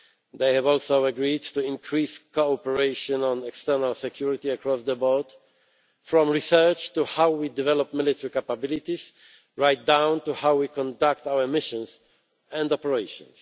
They have also agreed to increase cooperation on external security across the board from research to how we develop military capabilities, right down to how we conduct our missions and operations.